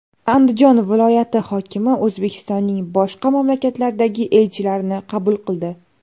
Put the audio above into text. Andijon viloyati hokimi O‘zbekistonning boshqa mamlakatlardagi elchilarini qabul qildi.